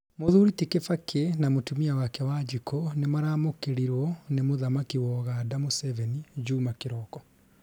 Mũthuri ti kibaki na mũtumia wake Wanjiku nĩmaramũkĩrirwo nĩ muthamaki wa Uganda Museveni njuma kĩroko.